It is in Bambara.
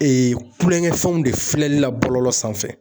Ee kulonkɛ fɛnw de filɛli la bɔlɔlɔ sanfɛ